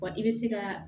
Wa i bɛ se ka